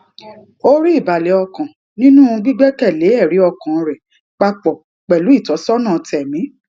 ó rí ìbàlè ọkàn nínú gbígbékèlé èrí ọkàn rè pa pò pèlú ìtósónà tèmí